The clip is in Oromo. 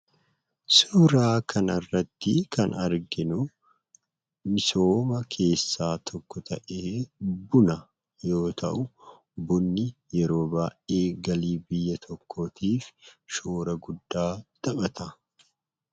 Suuraa kanarratti kan arginu misooma keessaa tokko ta'ee, buna yoo ta'u, bunni yeroo baay'ee galii biyya tokkootiif shoora guddaa taphata.